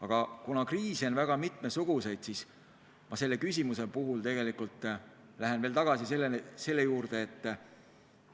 Aga kuna kriise on väga mitmesuguseid, siis ma selle küsimuse puhul lähen tegelikult tagasi selle juurde,